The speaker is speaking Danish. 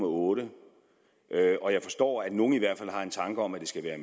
otte og jeg forstår at nogle i hvert fald har en tanke om at den skal være